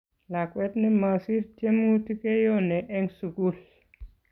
Lakwet ne masir tiemutik keyone eng' sukul